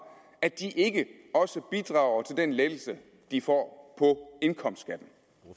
at de ikke også bidrager til den lettelse de får